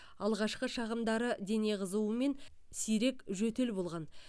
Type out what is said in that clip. алғашқы шағымдары дене қызуы мен сирек жөтел болған